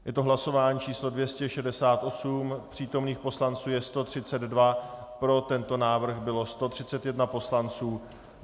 Je to hlasování číslo 268, přítomných poslanců je 132, pro tento návrh bylo 131 poslanců.